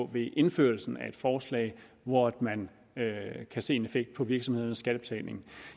ved indførelsen af et forslag hvor man kan se en effekt på virksomhedernes skattebetaling